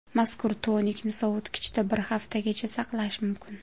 Mazkur tonikni sovitkichda bir haftagacha saqlash mumkin.